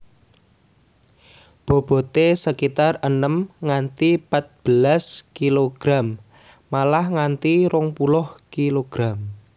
Bobote sekitar enem nganti patbelas kg malah nganti rong puluh kg